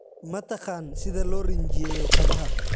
Ma taqaan sida loo rinjiyeeyo kabaha?